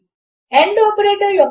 ఇప్పుడు అక్కడ ఈ కీవర్డ్ లు ఉంటాయి